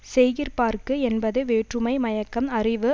செய்கிற்பாற்கு என்பது வேற்றுமை மயக்கம் அறிவு